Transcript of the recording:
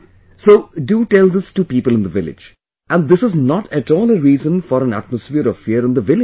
So, do tell this to people in the village...and this is not at all a reason for an atmosphere of fear in the village